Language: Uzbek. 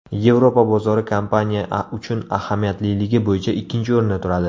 Yevropa bozori kompaniya uchun ahamiyatliligi bo‘yicha ikkinchi o‘rinda turadi.